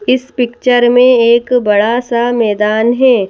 इस पिक्चर में एक बड़ा सा मैदान है।